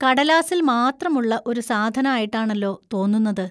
കടലാസിൽ മാത്രം ഉള്ള ഒരു സാധനായിട്ടാണല്ലോ തോന്നുന്നത്.